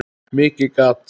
Mikið gat